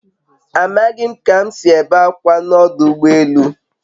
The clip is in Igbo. A maghị m ka m si ebe akwa na ọdụ ụgbọ elu